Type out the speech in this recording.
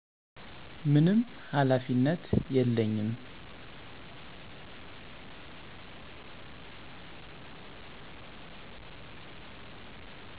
ምንም ሃላፊነት የለኝም